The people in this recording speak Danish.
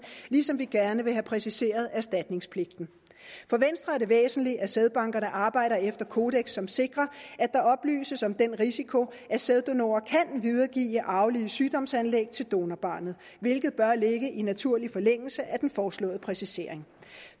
ligesom vi gerne vil have præciseret erstatningspligten for venstre er det væsentligt at sædbankerne arbejder efter kodeks som sikrer at der oplyses om den risiko at sæddonorer kan videregive arvelige sygdomsanlæg til donorbarnet hvilket bør ligge i naturlig forlængelse af den foreslåede præcisering